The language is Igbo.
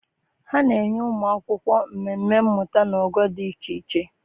ha na-enye ụmụ akwụkwọ mmemme mmụta na ogo dị iche iche.